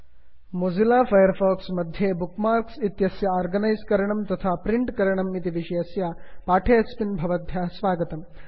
Mozilla Firefox मध्ये bookmarks इत्यस्य organise करणं तथा प्रिण्ट् करणम् इति विषयस्य पाठेस्मिन् भवद्भ्यः स्वागतम्